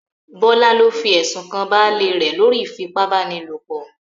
Bọ́lá ló fi ẹ̀sùn kan baálé rẹ̀ lórí ìfipá-báni-lòpọ̀